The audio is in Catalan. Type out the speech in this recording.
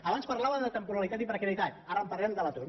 abans parlàvem de temporalitat i precarietat ara parlem de l’atur